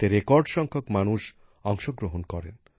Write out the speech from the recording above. এতে রেকর্ড সংখ্যক মানুষ অংশগ্রহণ করেন